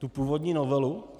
Tu původní novelu?